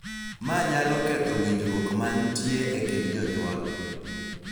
Ma nyalo ketho winjruok mantie e kind jonyuol,